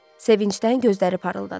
Sevincdən gözləri parıldadı.